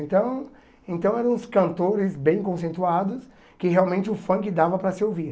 Então então eram os cantores bem conceituados que realmente o funk dava para se ouvir.